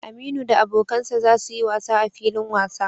Aminu da abokan sa za su yi wasa a filin wasa.